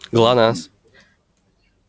глонассс